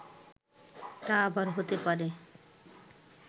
তা আবার হতে পারে